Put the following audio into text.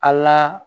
A la